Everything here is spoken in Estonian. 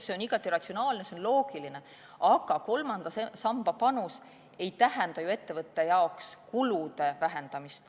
See on igati ratsionaalne, see on loogiline, aga kolmanda samba panus ei tähenda ju ettevõttele kulude vähendamist.